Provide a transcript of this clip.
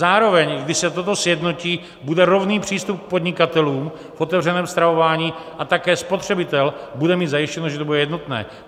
Zároveň, když se toto sjednotí, bude rovný přístup k podnikatelům v otevřeném stravování a také spotřebitel bude mít zajištěno, že to bude jednotné.